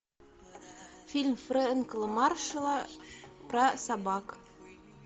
фильм фрэнка маршалла про собак